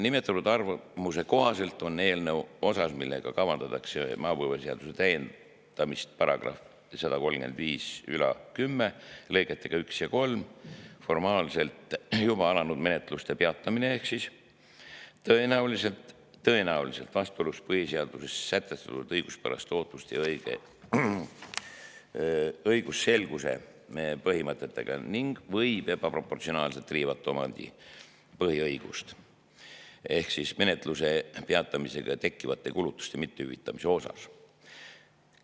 Nimetatud arvamuse kohaselt on eelnõu osa, millega kavandatakse maapõueseaduse täiendamist § 13510 lõigetega 1 ja 3 – formaalselt juba alanud menetluste peatamine –, tõenäoliselt vastuolus põhiseaduses sätestatud õiguspärase ootuse ja õigusselguse põhimõtetega ning võib ebaproportsionaalselt riivata omandipõhiõigust – menetluse peatamisega tekkivate kulutuste mitte hüvitamise osas.